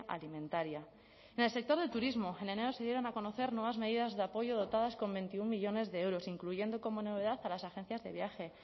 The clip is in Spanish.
alimentaria en el sector del turismo en enero se dieron a conocer nuevas medidas de apoyo dotadas con veintiuno millónes de euros incluyendo como novedad a las agencias de viaje